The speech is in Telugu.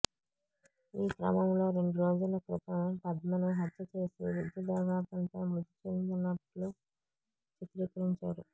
ఈ క్రమంలో రెండు రోజుల క్రితం పద్మను హత్య చేసి విద్యుదాఘాతంతో మృతి చెందిన్నట్లు చిత్రీకరించాడు